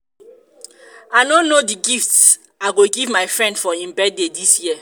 i no know the gift i go give my friend for im birthday dis year